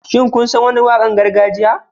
Shin kun san wani waƙar gargajiya?